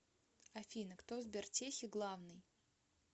афина кто в сбертехе главный